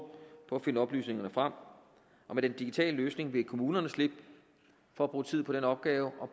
på at finde oplysningerne frem og med den digitale løsning vil kommunerne slippe for at bruge tid på den opgave og